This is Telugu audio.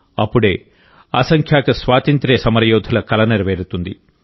అప్పుడే అసంఖ్యాక స్వాతంత్య్ర సమరయోధుల కల నెరవేరుతుంది